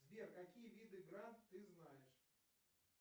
сбер какие виды гранд ты знаешь